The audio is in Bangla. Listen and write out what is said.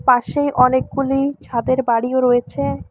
পাশেই অনেকগুলি ছাদের বাড়িও রয়েছে।